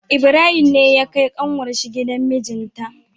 Ibrahim ne ya kai kanwar shi gidan mijinta